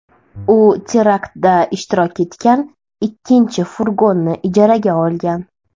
U teraktda ishtirok etgan ikkinchi furgonni ijaraga olgan.